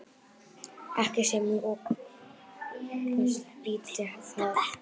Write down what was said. Ekki sem lökust býti það.